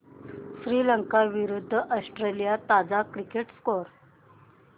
श्रीलंका विरूद्ध ऑस्ट्रेलिया ताजा cricket score